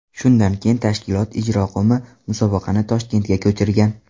Shundan keyin tashkilot ijroqo‘mi musobaqani Toshkentga ko‘chirgan.